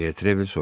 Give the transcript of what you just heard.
Detrevel soruşdu.